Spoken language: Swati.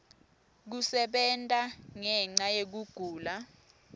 kusebenta ngenca yekugula